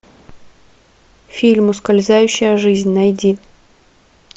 фильм ускользающая жизнь найди